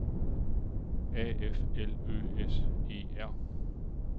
A F L Ø S E R